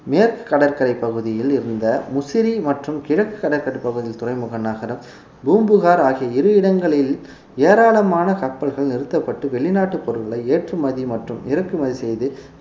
மேற்கு கடற்கரை பகுதியில் இருந்த முசிறி மற்றும் கிழக்கு கடற்கரைப்பகுதி துறைமுக நகரம் பூம்புகார் ஆகிய இரு இடங்களில் ஏராளமான கப்பல்கள் நிறுத்தப்பட்டு வெளிநாட்டு பொருட்களை ஏற்றுமதி மற்றும் இறக்குமதி செய்து